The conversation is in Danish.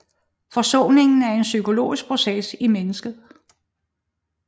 Forsoningen er en psykologisk proces i mennesket